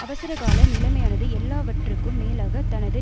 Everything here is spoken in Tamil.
அவசரகால நிலைமையானது எல்லாவற்றுக்கும் மேலாக தனது